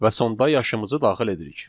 Və sonda yaşımızı daxil edirik.